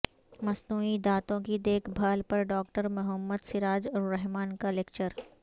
مصنوعی دانتوں کی دیکھ بھال پر ڈاکٹر محمد سراج الرحمن کا لکچر